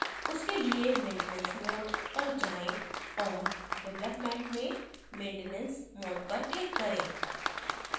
उसके लिए maintenance mode पर जाएँ और development में maintenance mode पर click करें